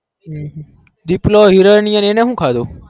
હમ દીપ્લો હીરને સુ ખાધું